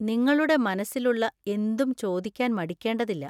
നിങ്ങളുടെ മനസ്സിലുള്ള എന്തും ചോദിക്കാൻ മടിക്കേണ്ടതില്ല.